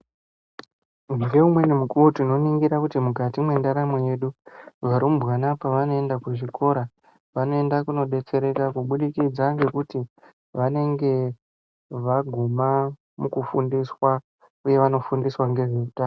Ngeumweni mukuwo tinoningira kuti mukati mwendaramo yedu varumbwana pavanoenda kuzvikora vanoenda kunodetsereka kubudikidza ngekuti vanenge vaguma mukufundiswa mwevanofundiswa ngezveutano.